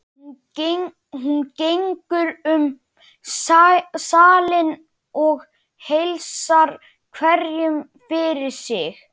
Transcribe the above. Hún gengur um salinn og heilsar hverjum fyrir sig.